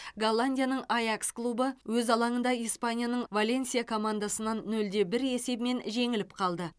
голландияның аякс клубы өз алаңында испанияның валенсия командасынан нөл де бір есебімен жеңіліп қалды